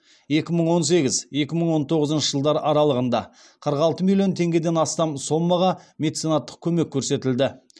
екі мың он сегіз екі мың он тоғызыншы жылдар аралығында қырық алты миллион теңгеден астам сомаға меценаттық көмек көрсетілді